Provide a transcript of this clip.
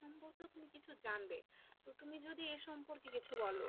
সম্পর্কেও তুমি কিছু জানবে, তো তুমি যদি এর সম্পর্কে কিছু বলো,